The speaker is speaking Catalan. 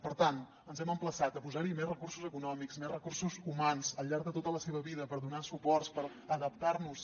per tant ens hem emplaçat a posar hi més recursos econòmics més recursos humans al llarg de tota la seva vida per donar suports per adaptar nos